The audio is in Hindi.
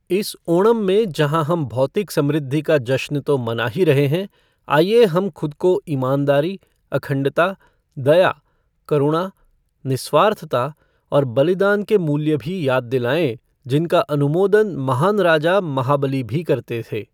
इस ओणम में जहां हम भौतिक समृद्धि का जश्न तो मना ही रहे हैं, आइए हम खुद को ईमानदारी, अखंडता, दया, करुणा, निस्वार्थता और बलिदान के मूल्य भी याद दिलाएं जिनका अनुमोदन महान राजा महाबली भी करते थे।